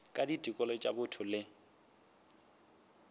ya ditokelo tša botho le